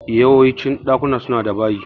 Yawancin ɗakuna suna da bayi